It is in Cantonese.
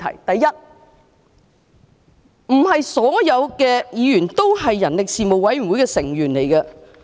第一，不是所有議員都是人力事務委員會的委員。